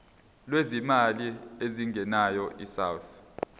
lwezimali ezingenayo isouth